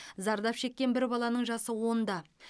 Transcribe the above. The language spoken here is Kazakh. зардап шеккен бір баланың жасы онда